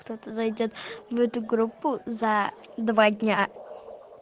кто-то зайдёт в эту группу за два дня